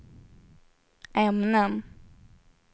ämnen